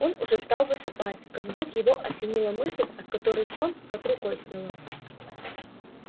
он уже стал засыпать как вдруг его осенила мысль от которой сон как рукой сняло